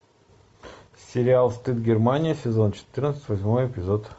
сериал стыд германия сезон четырнадцать восьмой эпизод